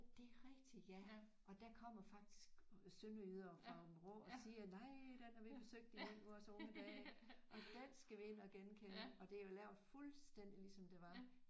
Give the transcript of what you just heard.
Det er rigtigt ja og der kommer faktisk sønderjyder fra Vrå og siger nej den har vi besøgt i vores unge dage og den skal vi ind og genkende og det er jo lavet fuldstændig ligesom det var